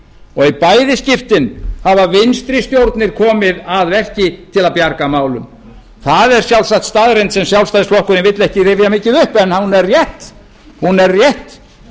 og í bæði skiptin hafa vinstri stjórnir komið að verki til að bjarga málum það er sjálfsagt staðreynd sem sjálfstæðisflokkurinn vill ekki rifja mikið upp en hún er rétt